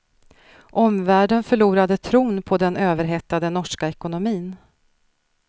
Omvärlden förlorade tron på den överhettade norska ekonomin.